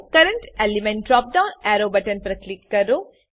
current element drop down arrow button પર click કરો